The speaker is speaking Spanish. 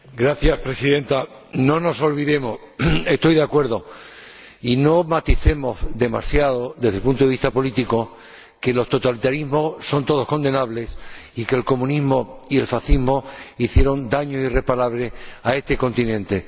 Señora Presidenta, no nos olvidemos estoy de acuerdo y no maticemos demasiado, desde el punto de vista político, que los totalitarismos son todos condenables y que el comunismo y el fascismo hicieron daño irreparable a este continente.